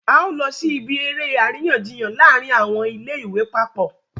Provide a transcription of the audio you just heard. a ó jọ lọ sí ibi eré àríyànjiyàn láàrin àwọn ilé ìwé papọ̀